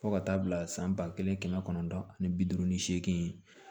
Fo ka taa bila san ba kelen kɛmɛ kɔnɔntɔn ani bi duuru ni seegin